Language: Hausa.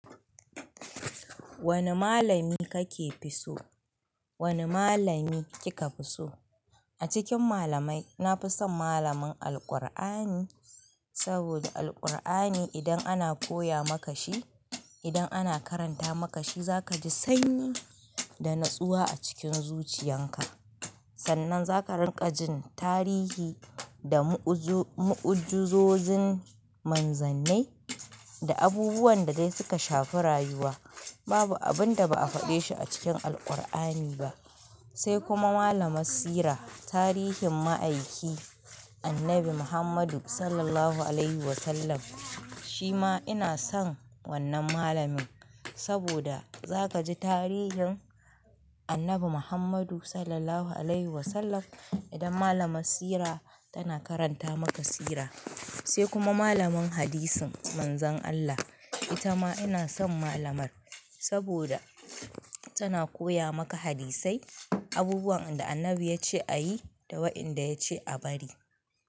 Wane malami kake fi so? Wane malami kika fi so? A cikin malamai, na fi son malamin Alqur'ani saboda Alqur'ani idan ana koya maka shi, idan ana karanta maka shi, za ka ji sanyi da natsuwa a cikin zuciyan ka. Sannan za ka rinƙa jin tarihi da mu'uzo-mu'ujuzozin manzanni da abubuwan da dai suka shafi rayuwa. Babu abin da ba a faɗe shi a cikin Alqur'ani ba. Sai kuma malamar Sira, tarihin ma'aiki Annabi Muhammadu Sallallahu alaihi wasallam. Shi ma ina son wannan malamin saboda za ka ji tarihin Annabi Muhammadu sallallahu alaihi wasallam idan malamar Sira tana karanta maka Sira. Sai kuma malamin Hadisin Manzon Allah. Ita ma ina son malamar saboda tana koya maka hadisai, abubuwan da Annabi yace a yi da wa'inda yace a bari.